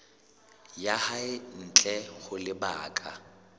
ya hae ntle ho lebaka